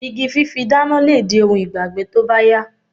Igi fífi dána lè di ohun ìgbàgbé tó bá yá